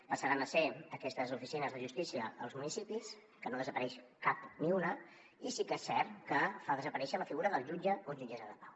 passaran a ser aquestes oficines de justícia als municipis que no en desapareix cap ni una i sí que és cert que fa desaparèixer la figura del jutge o jutgessa de pau